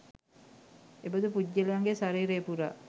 එබඳු පුද්ගලයන්ගේ ශරීරය පුරා